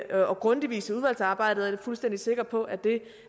og grundig vis i udvalgsarbejdet er fuldstændig sikker på at det